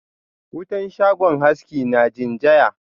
Wutan shagon haski na rinjaya.